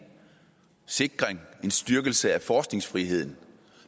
sikring en styrkelse af forskningsfriheden